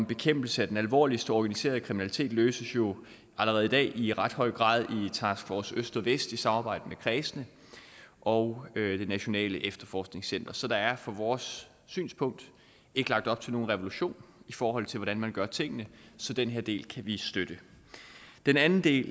bekæmpelse af den alvorligste organiserede kriminalitet løses jo allerede i dag i ret høj grad i task force øst og vest i samarbejde med kredsene og nationalt efterforskningscenter så der er fra vores synspunkt ikke lagt op til nogen revolution i forhold til hvordan man gør tingene så den her del kan vi støtte den anden del